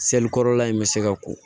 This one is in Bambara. Seli kɔrɔla in bɛ se ka ko